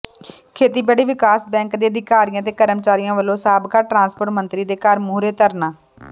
ਖੇਤੀਬਾੜੀ ਵਿਕਾਸ ਬੈਂਕ ਦੇ ਅਧਿਕਾਰੀਆਂ ਤੇ ਕਰਮਚਾਰੀਆਂ ਵਲੋਂ ਸਾਬਕਾ ਟਰਾਂਸਪੋਰਟ ਮੰਤਰੀ ਦੇ ਘਰ ਮੂਹਰੇ ਧਰਨਾ